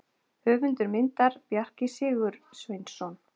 Höfundur myndar: Bjarki Sigursveinsson.